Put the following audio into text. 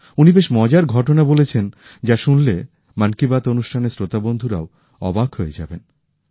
উনি বেশ মজার ঘটনা বলেছেন যা শুনলে মন কি বাত অনুষ্ঠানের শ্রোতা বন্ধুরাও অবাক হয়ে যাবেন